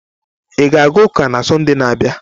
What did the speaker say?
Ị ga-aga ụka na Sọnde na-abịa?